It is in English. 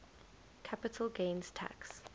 capital gains tax